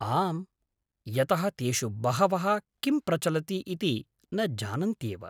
आम्, यतः तेषु बहवः किं प्रचलति इति न जानन्त्येव।